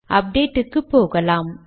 update க்குப்போகலாம்